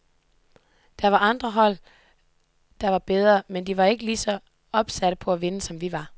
Der var andre hold, der var bedre, men de var bare ikke lige så opsatte på at vinde, som vi var.